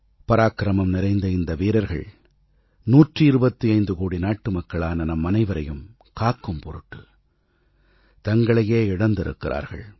பராக்கிரமம் நிறைந்த இந்த வீரர்கள் 125 கோடி நாட்டுமக்களான நம்மனைவரையும் காக்கும் பொருட்டுத் தங்களையே இழந்திருக்கிறார்கள்